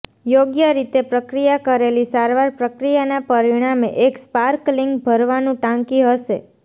યોગ્ય રીતે પ્રક્રિયા કરેલી સારવાર પ્રક્રિયાના પરિણામે એક સ્પાર્કલિંગ ભરવાનું ટાંકી હશે